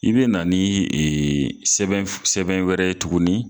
I be na ni e sɛbɛn sɛbɛn wɛrɛ ye tuguni